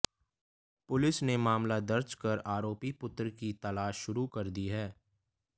police ने मामला दर्ज कर आरोपी पुत्र की तलाश शुरू कर दी है